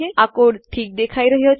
આ કોડ ઠીક દેખાઈ રહ્યો છે